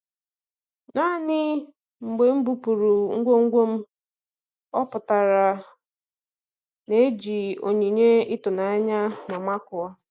Naanị mgbe m bupụrụ ngwongwo m, ọ pụtara na-eji onyinye ịtụnanya ma makụọ.